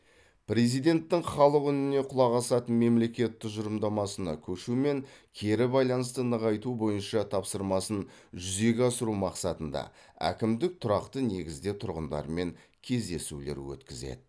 президенттің халық үніне құлақ асатын мемлекет тұжырымдамасына көшу мен кері байланысты нығайту бойынша тапсырмасын жүзеге асыру мақсатында әкімдік тұрақты негізде тұрғындармен кездесулер өткізеді